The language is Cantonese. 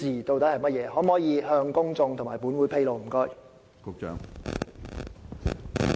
局長可否向公眾和本會披露這些資料？